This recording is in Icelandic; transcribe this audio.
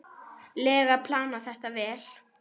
lega planað þetta vel.